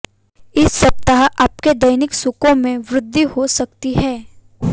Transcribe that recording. इस सप्ताह आपके दैनिक सुखो में वृद्धि हो सकती है